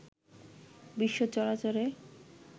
বিশ্ব চরাচরে